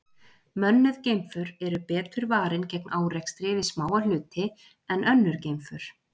Mönnuð geimför eru betur varin gegn árekstri við smáa hluti en önnur geimför.